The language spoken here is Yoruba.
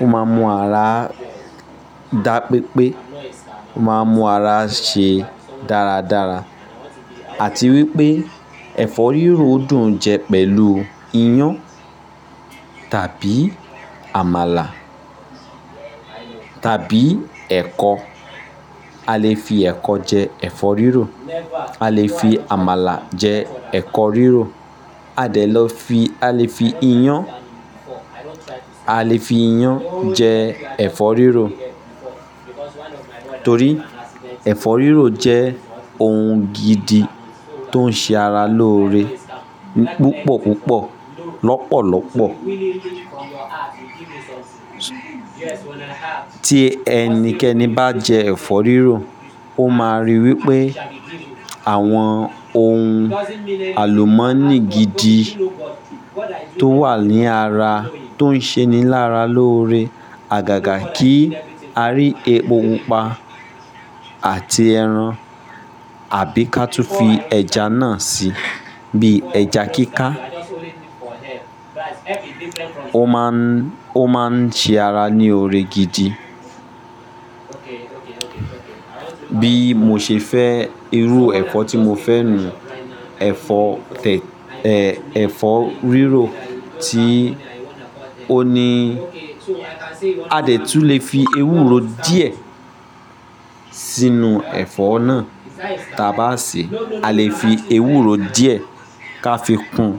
Ó máa ń mú ara dá pepé, ó máa ń mú ara ṣe dáradára. Àti wípé ẹ̀fọ́ rírò dùn jẹ pẹ̀lú iyán tàbí àmàlà tàbí ẹ̀kọ. A lè fi ẹ̀kọ jẹ ẹ̀fọ́ rírò. A lè fi àmàlà jẹ ẹ̀fọ́ rírò. A lè lọ fi, a lè fi iyán, a lè fi iyán jẹ ẹ̀fọ́ rírò. Torí ẹ̀fọ́ rírò jẹ́ ohun gidi tó ń ṣe ara lóore púpọ̀ púpọ̀, lọ́pọ̀lọpọ̀. Tí ẹnikẹni bá jẹ ẹ̀fọ́ rírò, ó máa rí wípé àwọn ohun àlùmọ́nì gidi tó wà ní ara, tó ń ṣe ní lára lóore. Àgàgà kí a rí epo pupa àti ẹran àbí ká tú fi ẹja náà sí, bí ẹja kíkà. Ó máa ń, ó máa ń ṣe ara ní oore gidi. Bí mo ṣe fẹ́ irú ẹ̀fọ́ tí mo fẹ́ ni, ẹ̀fọ́ tèt-- ẹ̀, ẹ̀fọ́ rírò tí ó ní a lè tún fi ewúro díẹ̀ sínú ẹ̀fọ́ náà, tà bá ṣe a lè fi ewúro díẹ̀ ká fi kún.